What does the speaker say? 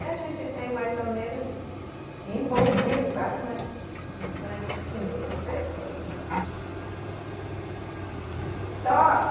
A gente tem mais ou menos envolvido quase umas, umas quinhentas pessoas, eu acho. E todo mundo. Só